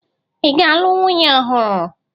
Ị ga-alụ nwunye ọhụrụ?